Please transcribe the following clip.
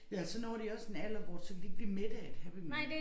Ja og så når de også en alder hvor at så kan de ikke blive mætte af et Happy Meal